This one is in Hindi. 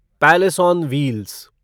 palace on wheels